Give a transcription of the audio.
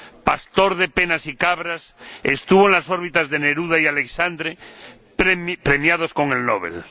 Pastor de penas y cabras, estuvo en las órbitas de Neruda y Aleixandre, premiados con el Nobel.